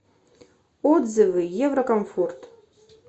отзывы еврокомфорт